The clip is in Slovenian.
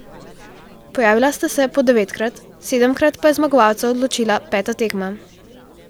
Pojavila sta se po devetkrat, sedemkrat pa je zmagovalca odločila peta tekma.